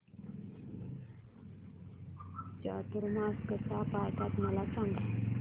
चातुर्मास कसा पाळतात मला सांग